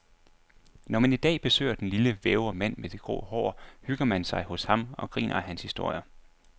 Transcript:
Når man i dag besøger den lille, vævre mand med det grå hår, hygger man sig hos ham og griner af hans historier.